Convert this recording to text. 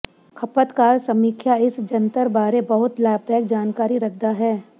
ਖਪਤਕਾਰ ਸਮੀਖਿਆ ਇਸ ਜੰਤਰ ਬਾਰੇ ਬਹੁਤ ਲਾਭਦਾਇਕ ਜਾਣਕਾਰੀ ਰੱਖਦਾ ਹੈ